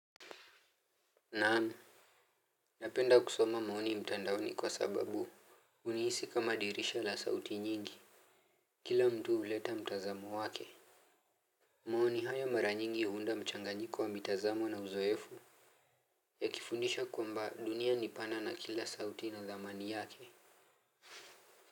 Naam. Napenda kusoma maoni mtandaoni kwa sababu unihisi kama dirisha la sauti nyingi. Kila mtu huleta mtazamo wake. Maoni hayo mara nyingi ya huunda mchanganyiko wa mitazamo na uzoefu. Ya kifundisha kwamba dunia ni pana na kila sauti ina dhamani yake.